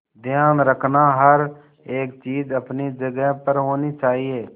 ध्यान रखना हर एक चीज अपनी जगह पर होनी चाहिए